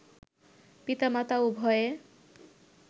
পিতা মাতা উভয়ে